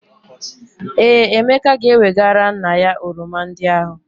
Ee, Emeka ga-ewegara nna ya oroma ndị ahụ.